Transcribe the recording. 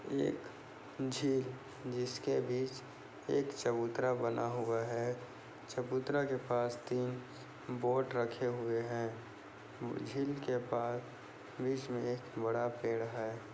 एक झील जिसके बीच एक चबूतरा बना हुआ है चबूतरा के पास तीन बोट रखे हुए है झील के पार बीच मे एक बड़ा पेड़ है।